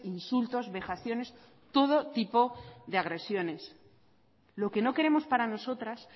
insultos vejaciones todo tipo de agresiones lo que no queremos para nosotras